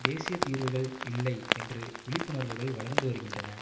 தேசிய தீர்வுகள் இல்லை என்று விழிப்புணர்வுகள் வளர்ந்து வருகின்றன